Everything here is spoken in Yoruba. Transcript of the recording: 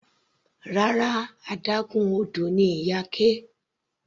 Rárá, adágún odò ni Iyake.